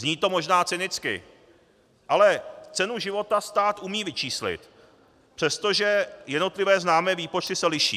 Zní to možná cynicky, ale cenu života stát umí vyčíslit, přestože jednotlivé známé výpočty se liší.